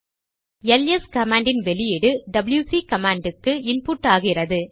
LS command இன் output டபில்யுசி command க்கு இன்புட் ஆகிறது